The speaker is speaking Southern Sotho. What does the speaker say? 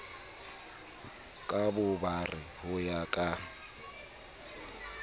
ka bobare ho ya ka